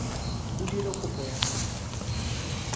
o dira kopo ya gago